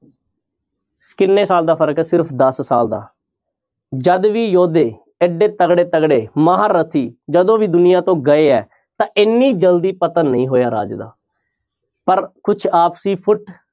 ਕਿੰਨੇ ਸਾਲ ਦਾ ਫ਼ਰਕ ਹੈ ਸਿਰਫ਼ ਦਸ ਸਾਲ ਦਾ ਜਦ ਵੀ ਯੋਧੇ ਇੱਡੇ ਤਕੜੇ ਤਕੜੇ ਮਹਾਰਥੀ ਜਦੋਂ ਵੀ ਦੁਨੀਆਂ ਤੋਂ ਗਏ ਹੈ ਤਾਂ ਇੰਨੀ ਜ਼ਲਦੀ ਪਤਨ ਨਹੀਂ ਹੋਇਆ ਰਾਜ ਦਾ ਪਰ ਕੁਛ ਆਪਸੀ ਫੁਟ